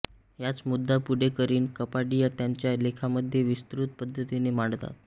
हाच मुद्दा पुढे करीन कपाडिया त्यांच्या लेखामध्ये विस्तृत पद्धतीने मांडतात